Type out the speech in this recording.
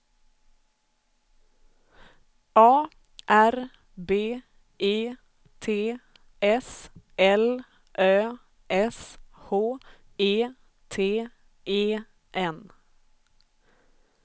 A R B E T S L Ö S H E T E N